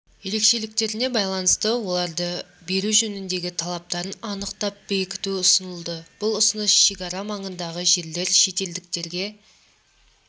ерекшеліктеріне байланысты оларды беру жөніндегі талаптарын анықтап бекіту ұсынылды бұл ұсыныс шегара маңындағы жерлер шетелдіктерге